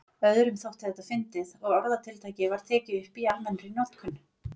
Öðrum þótti þetta fyndið og orðatiltækið var tekið upp í almennri notkun.